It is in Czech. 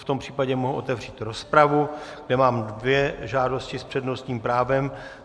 V tom případě mohu otevřít rozpravu, kde mám dvě žádosti s přednostním právem.